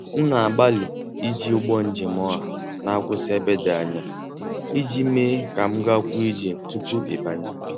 M na-agbalị iji ụgbọ njem ọha na-akwụsị n'ebe dị anya ij mee ka m gakwuo ije tupu ịbanye.